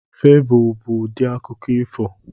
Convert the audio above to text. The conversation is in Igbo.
Febụl bụ ụdị akụkọ ifo.